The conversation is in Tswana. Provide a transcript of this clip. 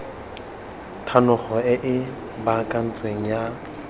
thanolo e e baakantsweng ya